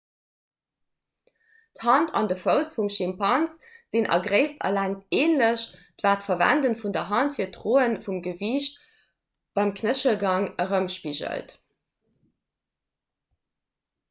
d'hand an de fouss vum schimpans sinn a gréisst a längt änlech wat d'verwende vun der hand fir d'droe vum gewiicht beim knéchelgang erëmspigelt